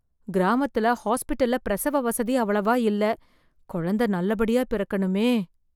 கிராமத்துல ஹாஸ்பிட்டல்ல பிரசவ வசதி அவ்வளவா இல்ல, குழந்த நல்ல படியா பிறக்கணுமே